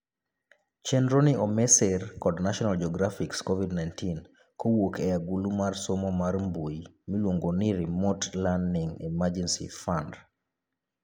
Chenroni omi sir kod National Geographic's COVID-19,kowuok e agulu mar somo mar mbui miluongo ni Remote Learning Emergency Fund'